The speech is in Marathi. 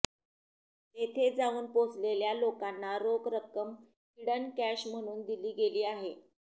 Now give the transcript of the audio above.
तेथे जाऊन पोहोचलेल्या लोकांना रोख रक्कम हिडन कॅश म्हणून दिली गेली आहे